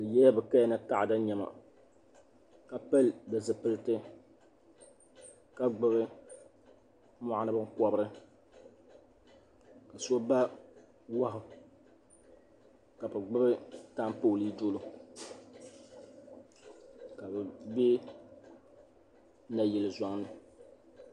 Bi yɛla bi kaya ni taɣada niɛma ka pili di zipiliti ka gbubi mɔɣuni binkɔbiri so ba wahu ka bi gbubi taapooli dolo ka bi bɛ nayili zɔŋ ni.